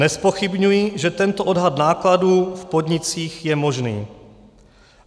Nezpochybňuji, že tento odhad nákladů v podnicích je možný.